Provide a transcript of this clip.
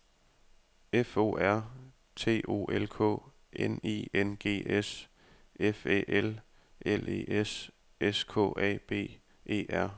F O R T O L K N I N G S F Æ L L E S S K A B E R